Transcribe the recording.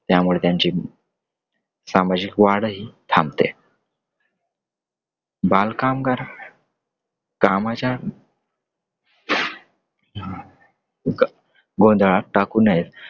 त्यामुळे त्यांची सामाजिक वाढही थांबते. बालकामगार कामाच्या गों गोंधळात टाकू नयेत.